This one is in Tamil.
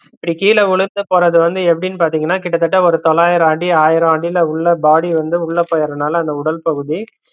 இப்படி கீழ விழுந்து போறது வந்து எப்படின்னு பாத்தீங்கன்னா கிட்ட தட்ட ஒரு தொள்ளாயிரம் அடி ஆயிரம் அடில உள்ள body வந்து உள்ள போயரனால அந்த உடல் பகுதி